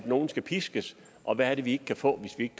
nogle så piskes og hvad er det vi ikke kan få hvis ikke